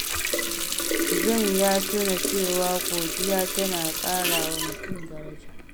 John ya tuna cewa godiya tana ƙara wa mutum daraja.